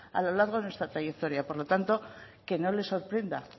a lo largo de nuestra trayectoria por lo tanto que no le sorprenda